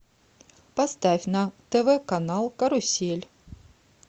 поставь на тв канал карусель